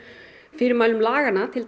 fyrirmælum laganna